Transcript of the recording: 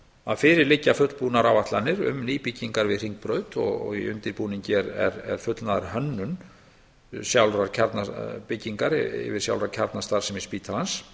að fyrir liggja fullbúnar áætlanir um nýbyggingar við hringbraut og í undirbúningi er fullnaðarhönnun sjálfrar kjarnabyggingar yfir sjálfa kjarnastarfsemi spítalans